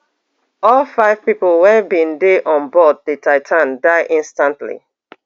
all five pipo wey bin dey on board di titan die instantly